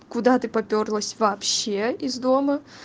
куда ты попёрлась вообще из дома